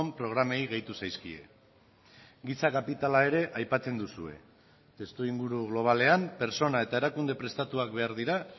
programei gehitu zaizkie giza kapitala ere aipatzen duzue testuinguru globalean pertsona eta erakunde prestatuak behar dira